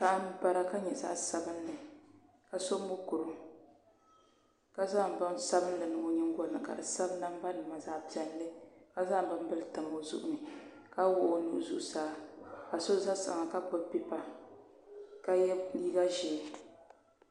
Paɣa n bara ka nyɛ zaɣ sabinli ka so mokuru ka zaŋ bin sabinli n niŋ o nyingolini ka di sabi namba nima zaɣ piɛlli ka zaŋ binbili tam o zuɣu ni ka wuɣu o nuhi zuɣusaa ka so ʒɛ kpaŋa ka wuɣi o nuhi zuɣusaa ka yɛ liiga ʒiɛ